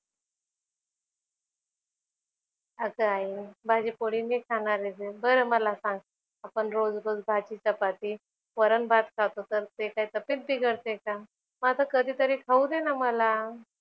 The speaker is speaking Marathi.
अगं आई भाजीपोळी मी खाणारंच आहे. बरं मला सांग आपण रोज रोज भाजी चपाती, वरणभात खातो तर ते काय तब्येत बिघडते का? मग आता कधीतरी खाऊ दे ना मला.